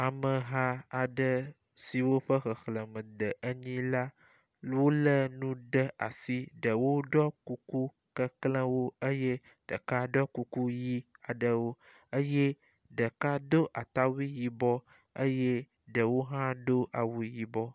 Ameha aɖe siwo ƒe xexlẽme de enyi la wolé nu ɖe asi. Ɖewo ɖɔ kuku keklẽwo eye ɖeka ɖɔ kuku ʋi aɖewo eye ɖeka do atawui yibɔ eye ɖewo hã do awu yibɔ.